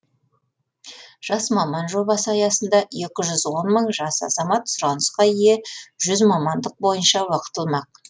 жас маман жобасы аясында екі жүз он мың жас азамат сұранысқа ие жүз мамандық бойынша оқытылмақ